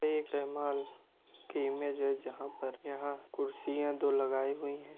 एक रहमान कि इमेज है जहाँ पर यहाँ कुर्सियाँ दो लगाई हुई हैं ।